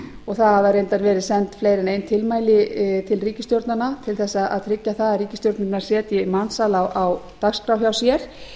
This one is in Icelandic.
og það hafa reyndar verið send fleiri en ein tilmæli til ríkisstjórnanna til þess að tryggja að ríkisstjórnirnar setji mansal á dagskrá hjá sér